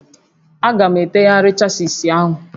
A ga-etegharị chasis ahụ